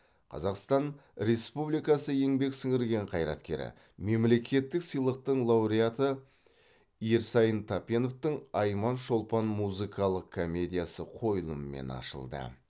қазақстан республикасы еңбек сіңірген қайраткері мемлекеттік сыйлықтың лауреатры ерсайын тапеновтің айман шолпан музыкалық комедиясы қойылымымен ашылды